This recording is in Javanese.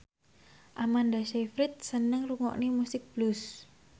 Amanda Sayfried seneng ngrungokne musik blues